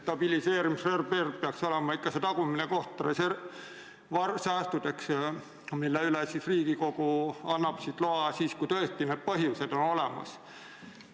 Stabiliseerimisreserv peaks olema see tagumine koht, kus hoitakse sääste, mille kasutamiseks annab Riigikogu loa siis, kui tõesti põhjused on olemas.